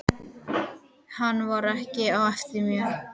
Hann var ekki á eftir mér.